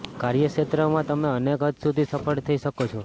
કાર્યક્ષેત્રમાં તમે અનેક હદ સુધી સફળ થઈ શકો છો